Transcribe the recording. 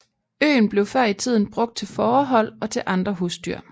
Øen blev før i tiden brugt til fårehold og til andre husdyr